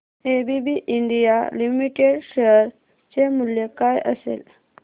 ABB India limited share चे मूल्य काय असेल